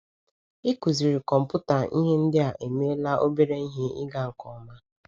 Ịkụziri kọmpụta ihe ndị a emeela obere ihe ịga nke ọma.